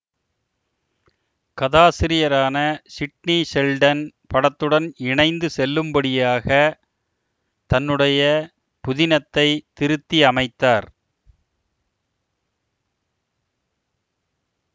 கதாசிரியரான Sidney Sheldon படத்துடன் இணைந்து செல்லும்படியாக தன்னுடைய புதினத்தை திருத்தியமைத்தார்